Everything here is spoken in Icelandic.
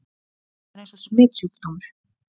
Sonja var eins og smitsjúkdómur.